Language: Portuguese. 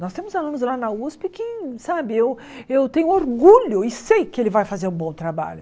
Nós temos alunos lá na Usp que, sabe, eu eu tenho orgulho e sei que ele vai fazer um bom trabalho.